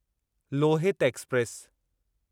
Lohit express